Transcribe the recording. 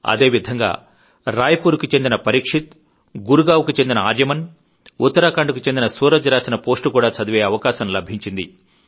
అదే విధంగా రాయ్ పూర్ కు చెందిన పరీక్షిత్ గురుగావ్ కు చెందిన ఆర్యమన్ ఉత్తరాఖండ్ కు చెందిన సూరజ్ రాసిన పోస్టు కూడా చదివే అవకాశం లభించింది